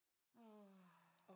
Åh